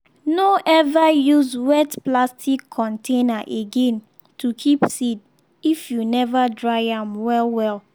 no ever use wet plastic container again to keep seed if you never dry am well-well.